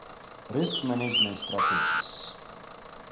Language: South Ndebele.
risk management strategies